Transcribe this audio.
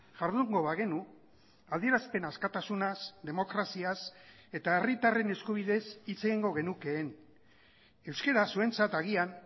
jardungo bagenu adierazpen askatasunaz demokraziaz eta herritarren eskubideez hitz egingo genukeen euskara zuentzat agian